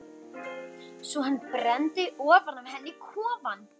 Svo hann brenndi ofan af henni kofann!